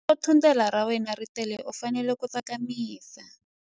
Loko thundelo ra wena ri tele u fanele ku tsakamisa.